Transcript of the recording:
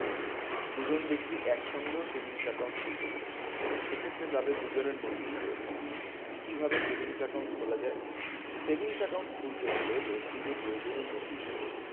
দুজন ব্যক্তি একসঙ্গেও savings account খুলতে পারে সেক্ষেত্রে তাদের দুজনের নথিই প্রয়োজন কিভাবে savings account খোলা যায় savings account খুলতে হলে ব্যক্তিকে প্রয়োজনীয় নথিসহ